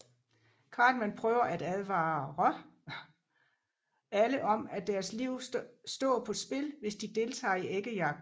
Cartman prøver at advarer alle om at deres liv stå på spil hvis de deltager i æggejagten